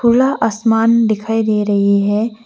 खुला आसमान दिखाई दे रही है।